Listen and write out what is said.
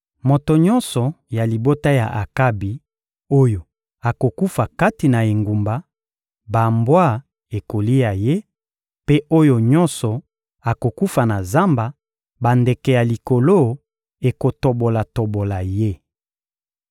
Moto nyonso ya libota ya Akabi oyo akokufa kati na engumba, bambwa ekolia ye; mpe oyo nyonso akokufa na zamba, bandeke ya likolo ekotobola-tobola ye.»